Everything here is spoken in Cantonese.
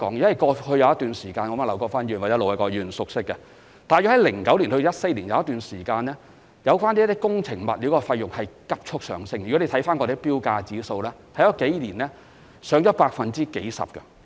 在過去的某一段時間，一如劉國勳議員或盧偉國議員所知，大約在2009年至2014年間，工程物料價格曾急速上升，從政府的標價指數也可看見，該數年的指數曾攀升了數十個百分點。